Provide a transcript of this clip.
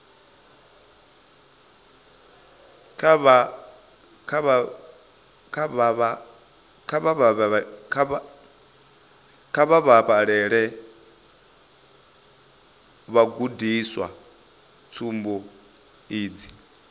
kha vha vhalele vhagudiswa tsumbo idzi